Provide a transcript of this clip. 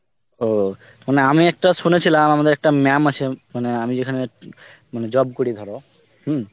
ও মানে আমি একটা শুনেছিলাম আমাদের একটা ম্যাম আছে, মানে আমি যেখানে জব করি ধরো হম